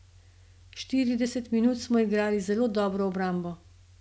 Štirideset minut smo igrali zelo dobro obrambo.